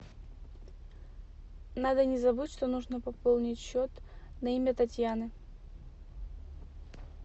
надо не забыть что нужно пополнить счет на имя татьяны